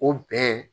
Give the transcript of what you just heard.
O bɛn